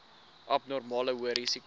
abnormale hoë risiko